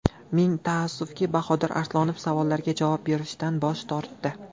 Ming taassufki, Bahodir Arslonov savollarga javob berishdan bosh tortdi.